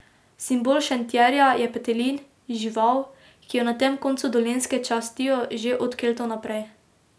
Simbol Šentjerneja je petelin, žival, ki jo na tem koncu Dolenjske častijo že od Keltov naprej.